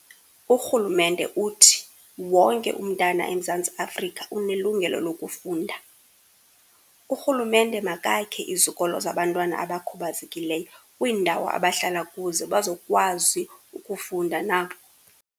Urhulumente uthi, wonke umntana eMzantsi Afrika unelungelo lokufunda. Urhulumente makakhe izikolo zabantwana abakhubazekileyo, kwiindawo abahlala kuzo bazokwazi ukufunda nabo.